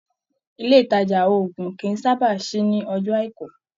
Ilé ìtajà òògùn kí sábà sí ní ọjọ́ àìkú.